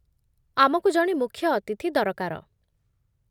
ଆମକୁ ଜଣେ ମୁଖ୍ୟ ଅତିଥି ଦରକାର